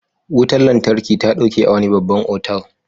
Wutar lantarki ta ɗauke a wani babban otal.